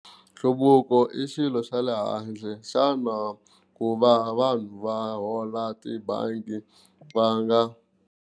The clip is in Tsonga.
Nhluvuko i xilo xa le handle xana ku va vanhu va hola tibangi va nga.